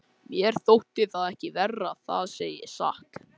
Mér þótti það ekki verra, það segi ég satt.